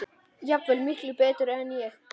Jafnvel miklu betur en ég.